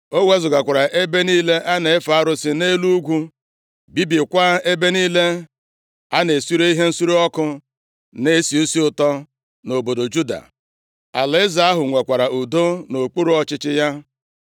O wezugakwara ebe niile a na-efe arụsị nʼelu ugwu, bibiekwa ebe niile a na-esure ihe nsure ọkụ na-esi isi ụtọ nʼobodo Juda. Alaeze ahụ nwekwara udo nʼokpuru ọchịchị ya.